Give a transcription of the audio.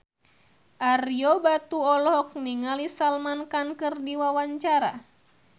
Ario Batu olohok ningali Salman Khan keur diwawancara